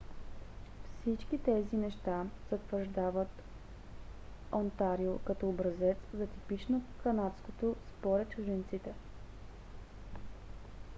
всички тези неща затвърждават онтарио като образец за типично канадското според чужденците